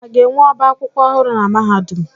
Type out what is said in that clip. A ga-enwe ọbá akwụkwọ ọhụrụ na mahadum?